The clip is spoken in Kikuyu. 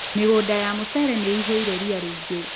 Mĩgũnda ya mũcere nĩihũire ria rĩingĩ.